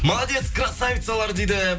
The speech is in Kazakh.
молодец красавицалар дейді